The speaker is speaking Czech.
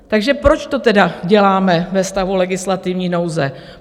Takže proč to tedy děláme ve stavu legislativní nouze?